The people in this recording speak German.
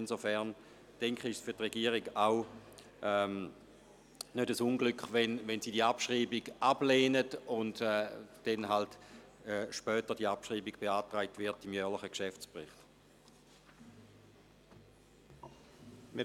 Insofern ist es für die Regierung auch kein Unglück, wenn Sie diese Abschreibung ablehnen und die Abschreibung im Rahmen des jährlichen Geschäftsberichts beantragt wird.